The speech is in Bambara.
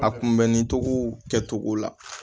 A kunbɛnni cogow kɛcogo la